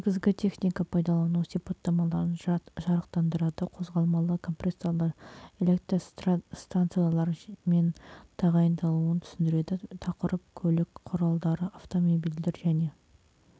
негізгі техника пайдалану сипаттамаларын жарықтандырады қозғалмалы компрессорлар электростанциялар мен тағайындалуын түсіндіреді тақырып көлік құралдары автомобильдер және